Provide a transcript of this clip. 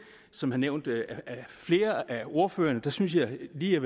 som er nævnt af flere af ordførerne synes jeg lige at